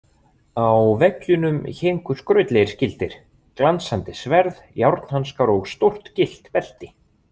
Á veggjunum héngu skrautlegir skildir, glansandi sverð, járnhanskar og stórt gyllt belti.